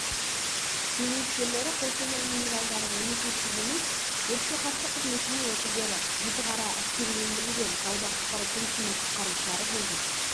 зейнеткерлері қостанай минералдары мемлекеттік емес өртке қарсы қызметінің өкілдері жітіқара әскерилендірілген тауда-құтқару пунктінің құтқарушылары болды